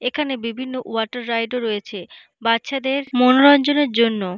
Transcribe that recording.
এখানে বিভিন্ন water ride -ও রয়েছে বাচ্চাদের মনোরঞ্জনের জন্য।